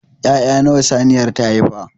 Ya'ya nawa saniyar ta haifa?